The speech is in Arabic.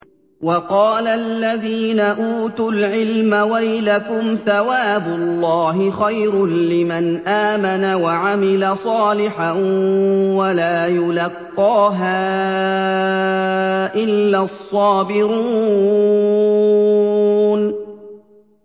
وَقَالَ الَّذِينَ أُوتُوا الْعِلْمَ وَيْلَكُمْ ثَوَابُ اللَّهِ خَيْرٌ لِّمَنْ آمَنَ وَعَمِلَ صَالِحًا وَلَا يُلَقَّاهَا إِلَّا الصَّابِرُونَ